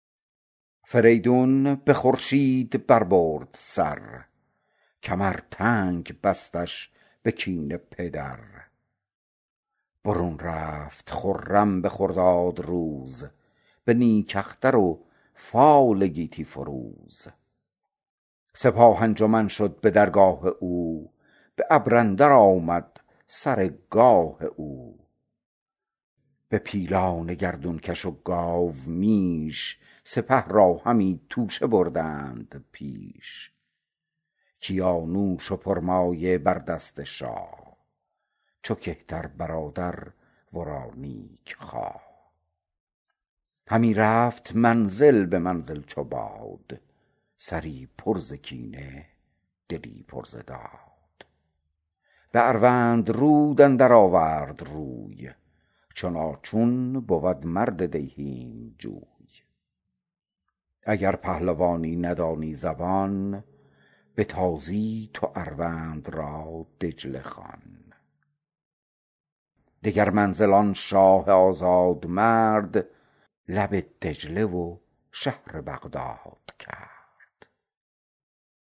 فریدون به خورشید بر برد سر کمر تنگ بستش به کین پدر برون رفت خرم به خرداد روز به نیک اختر و فال گیتی فروز سپاه انجمن شد به درگاه او به ابر اندر آمد سر گاه او به پیلان گردون کش و گاومیش سپه را همی توشه بردند پیش کیانوش و پرمایه بر دست شاه چو کهتر برادر ورا نیک خواه همی رفت منزل به منزل چو باد سری پر ز کینه دلی پر ز داد به اروندرود اندر آورد روی چنان چون بود مرد دیهیم جوی اگر پهلوانی ندانی زبان به تازی تو اروند را دجله خوان دگر منزل آن شاه آزادمرد لب دجله و شهر بغداد کرد